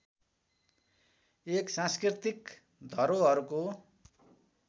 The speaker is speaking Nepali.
एक सांस्कृतिक धरोहरको